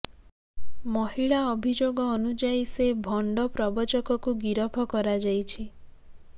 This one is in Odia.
ମହିଳା ଅଭିଯୋଗ ଅନୁଯାଇ ସେ ଭଣ୍ଡ ପ୍ରବଚକକୁ ଗିରଫ କରାଯାଇଛି